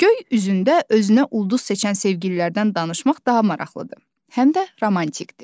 Göy üzündə özünə ulduz seçən sevgililərdən danışmaq daha maraqlıdır, həm də romantikdir.